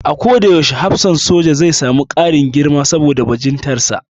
A ko da yaushe hafsan soja zai sami ƙarin girma saboda bajintarsa